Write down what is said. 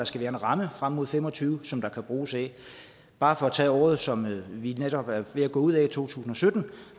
skal være en ramme frem mod fem og tyve som der kan bruges af bare for at tage året som vi netop er ved at gå ud af 2017